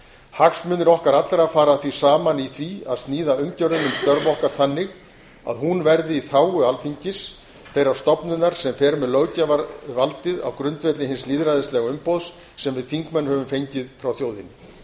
hagsmunir okkar allra fara því saman í því að sníða umgjörðina um störf okkar þannig að hún verði í þágu alþingis þeirrar stofnunar sem fer með löggjafarvaldið á grundvelli hins lýðræðislega umboðs sem við þingmenn höfum fengið frá þjóðinni